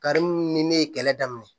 Karimu ni ne ye kɛlɛ daminɛ